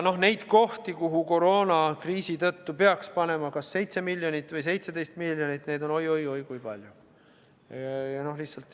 Neid kohti, kuhu koroonakriisi tõttu peaks panema kas 7 miljonit või 17 miljonit, on oi-oi-oi kui palju.